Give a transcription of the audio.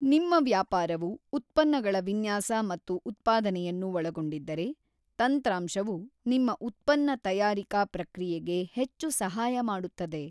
ನಿಮ್ಮ ವ್ಯಾಪಾರವು ಉತ್ಪನ್ನಗಳ ವಿನ್ಯಾಸ ಮತ್ತು ಉತ್ಪಾದನೆಯನ್ನು ಒಳಗೊಂಡಿದ್ದರೆ, ತಂತ್ರಾಂಶವು ನಿಮ್ಮ ಉತ್ಪನ್ನ ತಯಾರಿಕಾ ಪ್ರಕ್ರಿಯೆಗೆ ಹೆಚ್ಚು ಸಹಾಯ ಮಾಡುತ್ತದೆ.